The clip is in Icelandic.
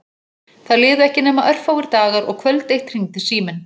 Það liðu ekki nema örfáir dagar og kvöld eitt hringdi síminn.